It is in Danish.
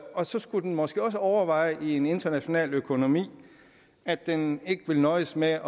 og så skulle den måske også overveje i en international økonomi at den ikke vil nøjes med